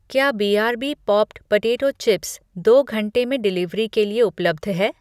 क्या B R B popped potato chips दो घंटे में डिलिवरी के लिए उपलब्ध है?